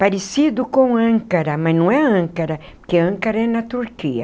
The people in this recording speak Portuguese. Parecido com Ancara, mas não é Ancara, porque Ancara é na Turquia.